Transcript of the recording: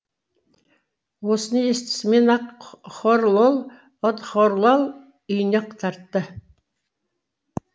осыны естісімен ақ хорлол одхорлал үйіне ақ тартты